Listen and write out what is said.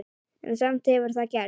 En samt hefur það gerst.